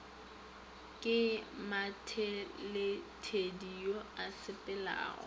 ke mathedithedi yo a sepelago